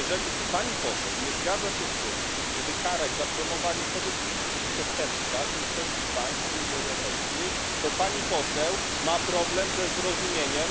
Jeżeli pani poseł nie zgadza się z tym, żeby karać za promowanie pedofilii, czyli przestępstwa w większości państw Unii Europejskiej, to pani poseł ma problem ze zrozumieniem.